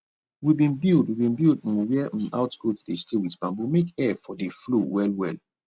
we bin build we bin build um where um out goat dey stay wit bamboo make air for dey flow well well